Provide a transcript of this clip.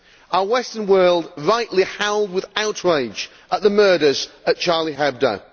Our Western world rightly howled with outrage at the murders at Charlie Hebdo.